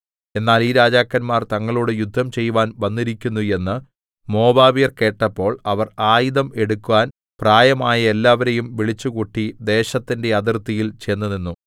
എന്നാൽ ഈ രാജാക്കന്മാർ തങ്ങളോട് യുദ്ധം ചെയ്‌വാൻ വന്നിരിക്കുന്നു എന്ന് മോവാബ്യർ കേട്ടപ്പോൾ അവർ ആയുധം എടുക്കാൻ പ്രായമായ എല്ലാവരേയും വിളിച്ചുകൂട്ടി ദേശത്തിന്റെ അതിർത്തിയിൽ ചെന്നുനിന്നു